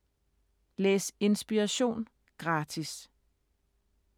Læs Inspiration gratis